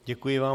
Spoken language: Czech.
Děkuji vám.